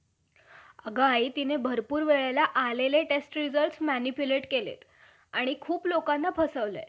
नाही. बरे. तो गर्भ आम्हाला,